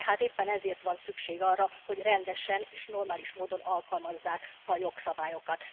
De hát éppen ezért van szükség arra, hogy rendesen és normális módon alkalmazzák a jogszabályokat.